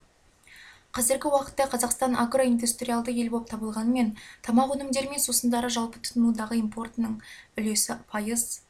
қазіргі уақытта қазақстан агроиндустриалды ел болып табылғанымен тамақ өнімдері мен сусындары жалпы тұтынудағы импортының үлесі пайыз